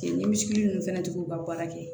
Ni misiri ninnu fɛnɛ tigiw ka baara kɛ